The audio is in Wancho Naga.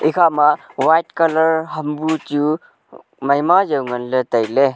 ekhama white colour ham bu chu maima jaw nganley tailey.